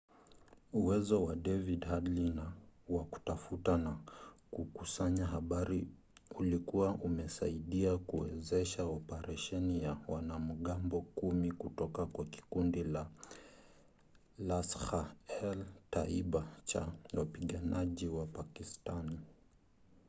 uwezo wa david headley wa kutafuta na kukusanya habari ulikuwa umesaidia kuwezesha operesheni ya wanamgambo 10 kutoka kwa kikundi cha laskhar-e-taiba cha wapiganaji wa pakistani